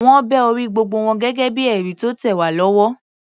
Wọ́n bẹ orí gbogbo wọn gẹ́gẹ́ bíi ẹ̀rí tó tẹ̀ wá lọ́wọ́.